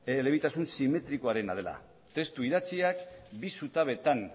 elebitasun simetrikoarena dela testu idatziak bi zutabetan